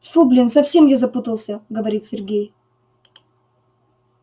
тьфу блин совсем я запутался говорит сергей